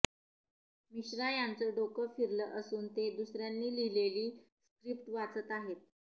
मिश्रा यांचं डोकं फिरलं असून ते दुसऱ्यांनी लिहिलेली स्क्रीप्ट वाचत आहेत